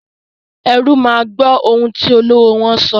Erú máa gbọ́ ohun tí olówó wọ́n sọ.